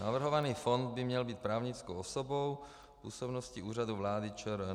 Navrhovaný fond by měl být právnickou osobou v působnosti Úřadu vlády ČR.